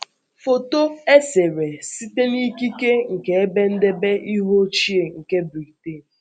Foto Foto e sere site n’ikike nke Ebe Ndebe Ihe Ochie nke Britain